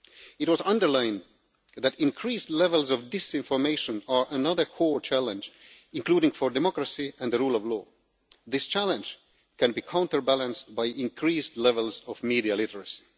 age. It was underlined that increased levels of disinformation are another core challenge, including for democracy and the rule of law. This challenge can be counterbalanced by increased levels of media